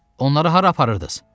Onları hara aparırdız?